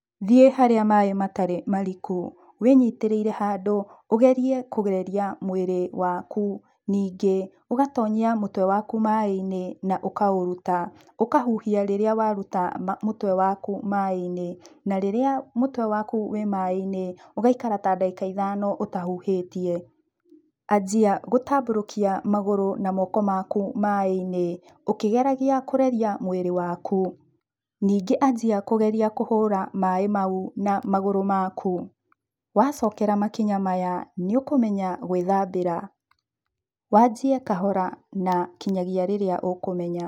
Thiĩ harĩa maĩ matarĩ mariku wĩnyitĩrĩire handũ ũgerie kũreria mwĩrĩ waku. Ningĩ ũgatonyia mũtwe waku maĩ-inĩ na ũkaũruta, ũkahuhia rĩrĩa waruta mũtwe waku maĩinĩ na rĩrĩa mũtwe waku wĩ maĩ-ini ũgaikara ta ndagĩka ithano ũtahũhĩtie, anjia gũtambũrũkia magũrũ na moko maku maĩ-ini ũkĩgeragia kũreria mwĩrĩ waku. Ningĩ anjia kũgeria kũhũra maĩ mau na magũrũ maku, wacokera makinya maya nĩ ũkũmenya gwĩthambĩra, wanjie kahora nginyagia rĩrĩa ũkũmenya.